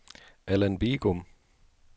Alan Bigum